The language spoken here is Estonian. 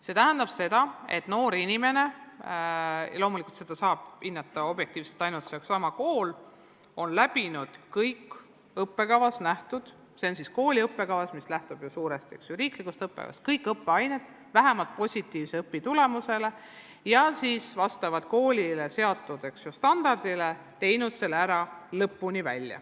See tähendab seda, et noor inimene, keda loomulikult saab objektiivselt hinnata ainult seesama kool, on läbinud kõik õppekavas – täpsemalt kooli õppekavas, mis lähtub ju suuresti riiklikust õppekavast – ettenähtud õppeained ja sooritanud need vähemalt positiivsele õpitulemusele ning teinud õppe vastavalt koolile seatud standardile lõpuni läbi.